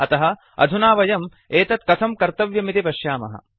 अतः अधुना वयम् एतत् कथं कर्तव्यमिति पश्यामः